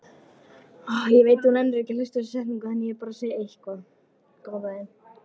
Emil hafði undirbúið sig fyrir þessa spurningu.